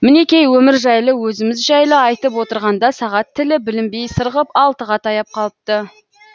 мінекей өмір жайлы өзіміз жайлы айтып отырғанда сағат тілі білінбей сырғып алтыға таяп қалыпты